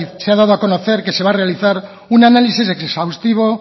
se ha dado a conocer que se va a realizar una análisis exhaustivo